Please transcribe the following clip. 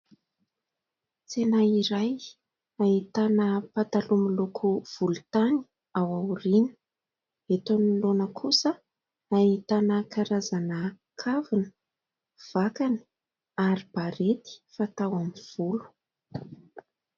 Tsena iray, ahitana pataloha miloko volontany ao aoriana. Eto anoloana kosa, ahitana karazana kavina, vakana ary barety fatao amin'ny volo.